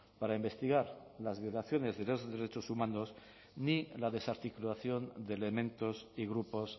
para investigar las violaciones de los derechos humanos ni la desarticulación de elementos y grupos